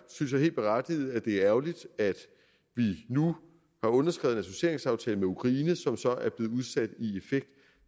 helt berettiget at det er ærgerligt at vi nu har underskrevet en associeringsaftale med ukraine som så er blevet udsat